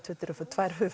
tvö